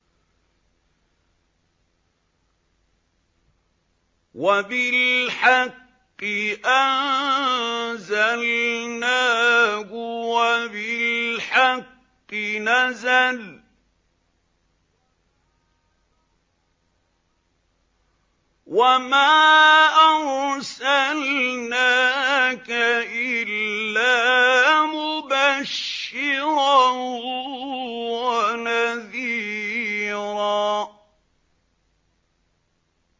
وَبِالْحَقِّ أَنزَلْنَاهُ وَبِالْحَقِّ نَزَلَ ۗ وَمَا أَرْسَلْنَاكَ إِلَّا مُبَشِّرًا وَنَذِيرًا